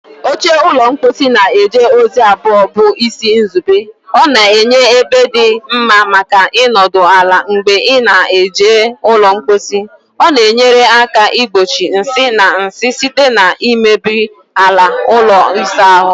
Oche ụlọ mposi na-eje ozi abụọ bụ isi nzube: ọ na-enye ebe dị mma maka ịnọdụ ala mgbe ị na-eji ụlọ mposi, ọ na-enyere aka igbochi nsị na nsị site na imebi ala ụlọ ịsa ahụ.